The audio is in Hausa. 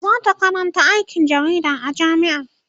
zata Karanta aikin jarida a jamia